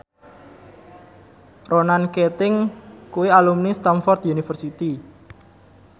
Ronan Keating kuwi alumni Stamford University